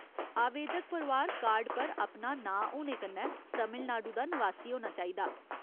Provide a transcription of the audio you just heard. आवेदक परोआर कार्ड पर अपना नांऽ होने कन्नै तमिलनाडु दा नवासी होना चाहिदा।